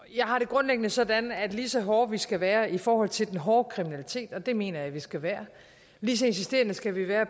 jeg har det grundlæggende sådan at lige så hårde vi skal være i forhold til den hårde kriminalitet og det mener jeg vi skal være lige så insisterende skal vi være